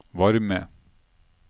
varme